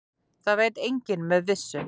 Það veit enginn með vissu.